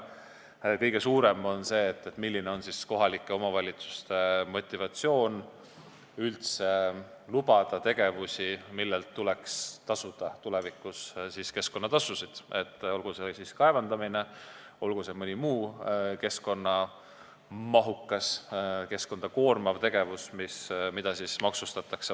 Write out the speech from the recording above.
Kõige suurem mure on sellega, milline on kohalike omavalitsuste motivatsioon üldse lubada tegevusi, millelt tuleks tulevikus tasuda keskkonnatasusid, olgu see kaevandamine või mõni muu keskkonnamahukas, keskkonda koormav tegevus, mida vastavalt maksustatakse.